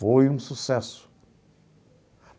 Foi um sucesso.